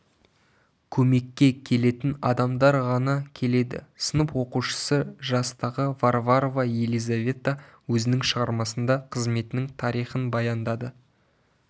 көмекке келетін адамдар ғана келеді сынып оқушысы жастағы варварова елизавета өзінің шығармасында қызметінің тарихын баяндады